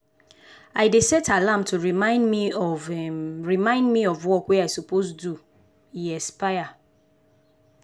i dey set alarm to remind me of remind me of work wey i suppose do e expire.